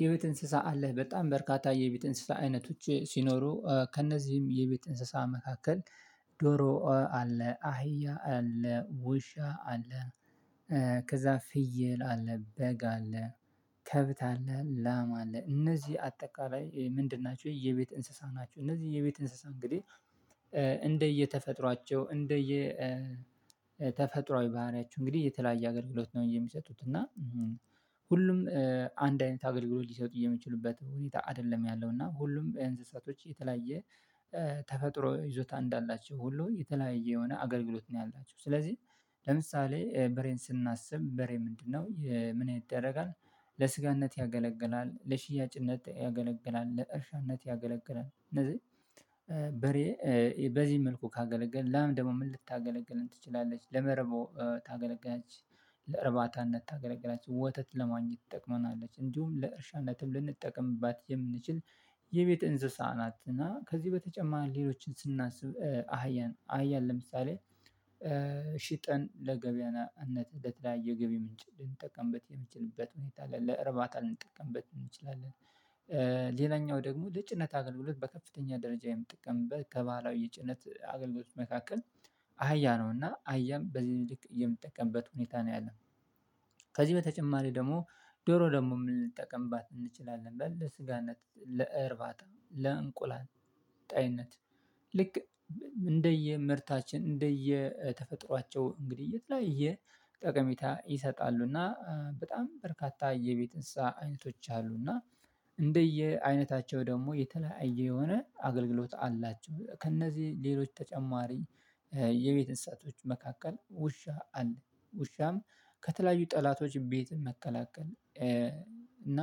የቤት እንስሳ አለህ በጣም በርካታ የቤት እንስሳ አይነቶች ሲኖሩ ከእነዚህም የቤት እንስሳ መካከል ዶሮ አለ አህያ አለ ውሻ አለ። ከዛ ፍየል አለ በግ አለ ከብት አለ ላም አለ። እነዚህ አጠቃላይ ምንድን ናችሁ የቤት እንስሳ ናችሁ? እነዚህ የየቤት እንስሳ እንግዲህ እንደየተፈጥሯቸው እንደየ ባህሪያችሁ እንግዲህ የተለያየ አገልግሎት ነው። የሚሰጡት እና ሁሉም አንድ አይነት አገልግሎት ሊሰጡ የሚችሉበት ሁኔታ አይደለም ያለው እና ሁሉም እንስሳቶች የተለያየ ተፈጥሮ ይዞታ እንዳላቸው ሁሉ የተለያየ የሆነ አገልግሎት ነው ያላቸው። ስለዚህ ለምሳሌ በሬን ስናስብ በሬ ምንድነው ምን ይደረጋል? ለስጋነት ያገለግላል ለሽያጭነት ያገለግላል ለእርሻነት ያገለግላል። እነዚህ በሬ በዚህ መልኩ ካገለገልን ለአም ደግሞ ምን ልታገለግለን ትችላለች ለመርቦ ታገለጋች ለርባታነት ታገለግላች ወተት ለማግኘት ትጠቅመናለች። እንዲሁም ለእርሻነትም ልንጠቀምባት የምንችል የቤት እንስሳ ናት። እና ከዚህ በተጨማሪ ሌሎችን ስናስብ አህያን አህያን ለምሳሌ ሽጠን ለገበያነት ለተለያየ የገቢ ምንጭ ልንጠቀምበት የምንችልበት ሁኔታ ለርባታ ልንጠቀምበት እንችላለን። ሌላኛው ደግሞ ለጭነት አገልግሎት በከፍተኛ ደረጃ የምትጠቀምበት ከባህላዊ የጭነት አገልግሎት መካከል አህያ ነው። እና አህያም በዚህ ምልክት የምትጠቀምበት ሁኔታ ነው ያለን። ከዚህ በተጨማሪ ደግሞ ዶሮ ደግሞ የምንጠቀምባት እንችላለን በል ለስጋነት ለእርባታ ለእንቁላል ጣይነት ልክ እንደየ ምርታችን እንደየ ተፈጥሯቸው እንግዲህ የተለያየ ጠቀሜታ ይሰጣሉ። እና በጣም በርካታ የቤት እንስሳ አይነቶች አሉና እንደየ አይነታቸው ደግሞ የተለያየ የሆነ አገልግሎት አላቸው። ከእነዚህ ሌሎች ተጨማሪ የቤት እንስሳቶች መካከል ውሻ አለ ውሻም ከተለያዩ ጠላቶች ቤትም መከላከል። እና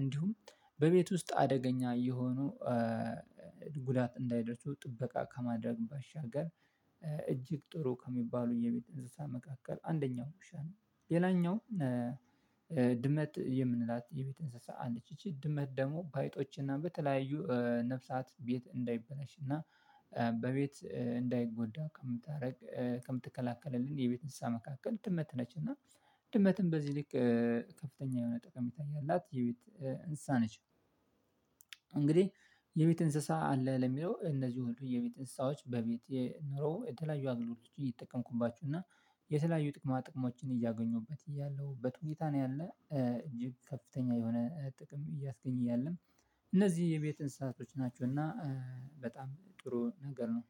እንዲሁም በቤት ውስጥ አደገኛ እየሆኑ ጉዳት እንዳይደርሱ ጥበቃ ከማድረግ ባሻገር እጅግ ጥሩ ከሚባሉ የቤት እንስሳ መካከል አንደኛው ውሻ ነው። ሌላኛው ድመት የምንላት የቤት እንስሳ አለች ይቺ ድመት ደግሞ በአይጦችና በተለያዩ ነፍሳት ቤት እንዳይበላሽ እና በቤት እንዳይጎዳ ከምታደርግ ከምትከላከለልን የቤት እንስሳ መካከል ድመት ነች። እና ድመትም በዚህ ልክ ከፍተኛ የሆነ ጠቀሜታ ያላት የቤት እንስሳ ነች። እንግዲህ የቤት እንስሳ አለ ለሚለው እነዚህ ሁሉ የቤት እንስሳዎች በቤት የኑሮ የተለያዩ አገልግሎቶች የተጠቀምኩባችው እና የተለያዩ ጥቅማ ጥቅማዎችን እያገኙበት እያለሁበት ሁኔታ ነው ያለ እጅግ ከፍተኛ የሆነ ጥቅም እያስገኝ እያለም እነዚህ የቤት እንስሳቶች ናቸው። እና በጣም ጥሩ ነገር ነው